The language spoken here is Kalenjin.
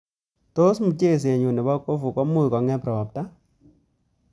Tos mchesenyu nebo kofu komuch kongem ropta